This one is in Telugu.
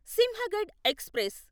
సింహగడ్ ఎక్స్ప్రెస్